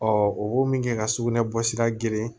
o b'o min kɛ ka sugunɛ bɔsira geren